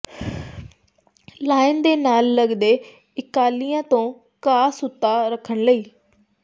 lawn ਦੇ ਨਾਲ ਲੱਗਦੇ ਇਲਾਕਿਆਂ ਤੋਂ ਘਾਹ ਸੁੱਤਾ ਰੱਖਣ ਲਈ